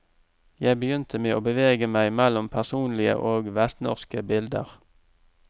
Jeg begynte med å bevege meg mellom personlige og vestnorske bilder.